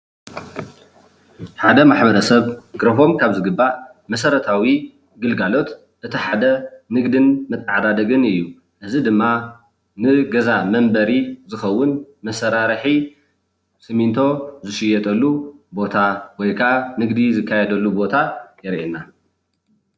ሓደ ማሕበረሰብ ክረክቦም ካብ ዝግባእ መሰረታዊ ግልጋሎት እቲ ሓደ ንግድን መተዓዳደግን እዩ፣ እዚ ድማ ንገዛ መንበሪ ዝከውን መሰራርሒ ስሚንቶ ዝሽየጠሉ ቦታ ወይ ከዓ ንግዲ ዝካየደሉ ቦታ የርእየና፡፡